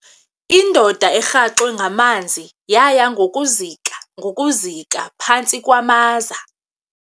Indoda erhaxwe ngamanzi yaya ngokuzika ngokuzika phantsi kwamaza.